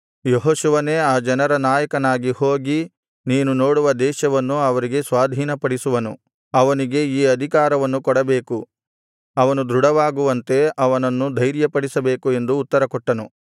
ಯೆಹೋಶುವನೇ ಈ ಜನರ ನಾಯಕನಾಗಿ ಹೋಗಿ ನೀನು ನೋಡುವ ದೇಶವನ್ನು ಅವರಿಗೆ ಸ್ವಾಧೀನಪಡಿಸುವನು ಅವನಿಗೆ ಈ ಅಧಿಕಾರವನ್ನು ಕೊಡಬೇಕು ಅವನು ದೃಢವಾಗುವಂತೆ ಅವನನ್ನು ಧೈರ್ಯಪಡಿಸಬೇಕು ಎಂದು ಉತ್ತರಕೊಟ್ಟನು